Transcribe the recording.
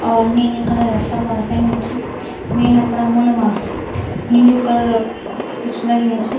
और नीली कलर क सलवार पेन्यु च वेंन अपड़ा मुंड मा नीलू कलर क कुछ लग्युं च।